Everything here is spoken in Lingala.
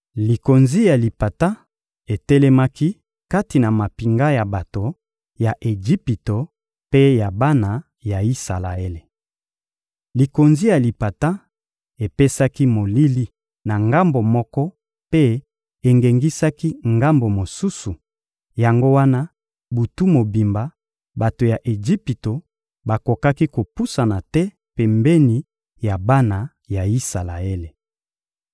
Likonzi ya lipata etelemaki kati ya mampinga ya bato ya Ejipito mpe ya bana ya Isalaele. Likonzi ya lipata epesaki molili na ngambo moko mpe engengisaki ngambo mosusu; yango wana butu mobimba, bato ya Ejipito bakokaki kopusana te pembeni ya bana ya Isalaele.